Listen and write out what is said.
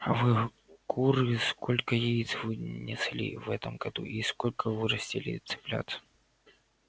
а вы куры сколько яиц вы несли в этом году и сколько вырастили цыплят